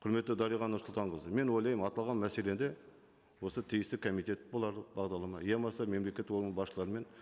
құрметті дариға нұрсұлтанқызы мен ойлаймын аталған мәселеде осы тиісті комитет болар бағдарлама я болмаса мемлекет орган басшыларымен